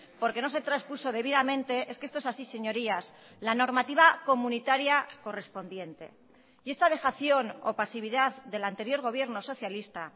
porque no se traspuso debidamente es que esto es así señorías la normativa comunitaria correspondiente y esta dejación o pasividad del anterior gobierno socialista